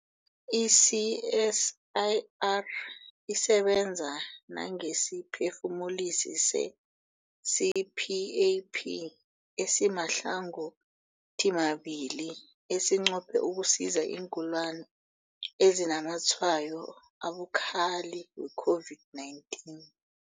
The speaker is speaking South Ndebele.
I-CSIR isebenza nangesiphefumulisi se-CPAP esimahlangothimabili esinqophe ukusiza iingulani ezinazamatshwayo abukhali we-COVID-19.